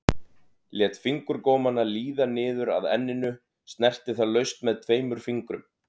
Lét fingurgómana líða niður að enninu, snerti það laust með tveimur fingrum.